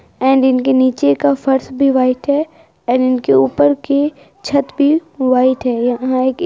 and इनके नीचे का फर्श भी व्हाइट है एंड इनके ऊपर की छत भी व्हाइट हैं यहां एक --